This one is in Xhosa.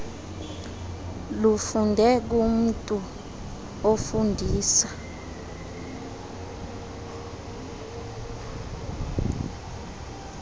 lufunde kumntu ofundisa